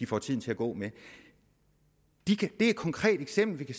får tiden til at gå med det er et konkret eksempel